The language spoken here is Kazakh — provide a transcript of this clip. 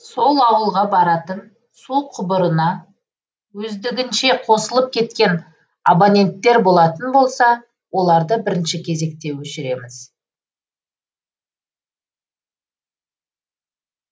сол ауылға баратын су құбырына өздігінше қосылып кеткен абоненттер болатын болса оларды бірінші кезекте өшіреміз